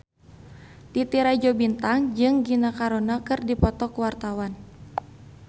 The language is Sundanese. Titi Rajo Bintang jeung Gina Carano keur dipoto ku wartawan